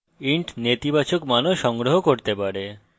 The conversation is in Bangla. int নেতিবাচক মানও সংগ্রহ করতে পারে